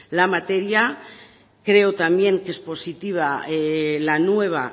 la materia creo también que es positiva la nueva